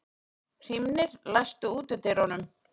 Hrímnir, læstu útidyrunum.